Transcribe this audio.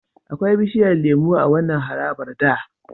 Akwai bishiyar lemo a wannan harabar da.